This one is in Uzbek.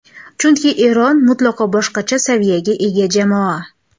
Chunki Eron mutlaqo boshqacha saviyaga ega jamoa.